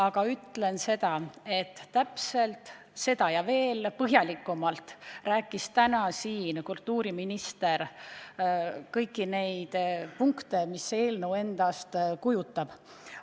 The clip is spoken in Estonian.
Täpselt seda, mida täna, ja veel põhjalikumalt rääkis kultuuriminister ka komisjonis, selgitades, mida eelnõu endast kujutab.